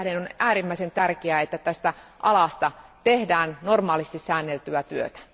Sen tähden on äärimmäisen tärkeää, että tästä alasta tehdään normaalisti säänneltyä työtä.